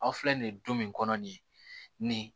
Aw filɛ nin ye du min kɔnɔ nin